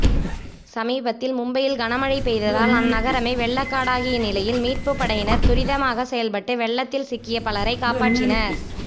சமீபத்தில் மும்பையில் கனமழை பெய்ததால் அந்நகரமே வெள்ளக்காடாகிய நிலையில் மீட்புப்படையினர் துரிதமாக செயல்பட்டு வெள்ளத்தில் சிக்கிய பலரை காப்பாற்றினர்